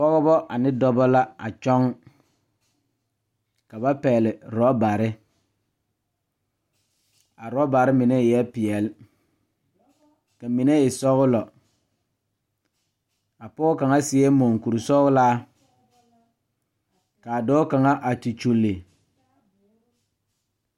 Pɔgeba ane dɔba la a kyɔŋ ka ba pɛgle orɔbare a orɔbare mine eɛ peɛle ka mine e sɔglɔ a pɔge kaŋa seɛ monkurisɔglaa ka a dɔɔ kaŋa a te kyulli.